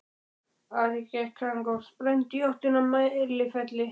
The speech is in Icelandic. Ari gekk þangað og sprændi í áttina að Mælifelli.